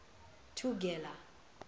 thugela